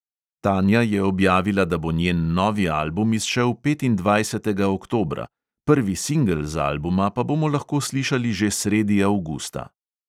Tanja je objavila, da bo njen novi album izšel petindvajsetega oktobra, prvi singel z albuma pa bomo lahko slišali že sredi avgusta.